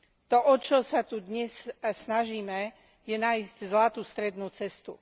To, o čo sa tu dnes snažíme, je nájsť zlatú strednú cestu.